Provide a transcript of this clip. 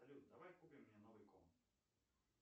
салют давай купим мне новый комп